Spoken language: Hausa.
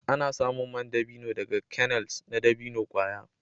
Ana samun man dabino daga kernels na dabino kwaya.